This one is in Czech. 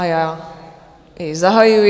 A já jej zahajuji.